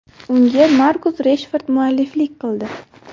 Unga Markus Reshford mualliflik qildi.